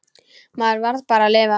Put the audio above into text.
Maður varð bara að lifa.